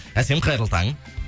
әсем қайырлы таң